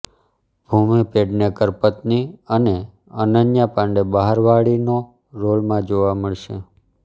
ભૂમિ પેડનેકર પત્ની અને અનન્યા પાંડે બહારવાળીનો રોલમાં જોવા મળશે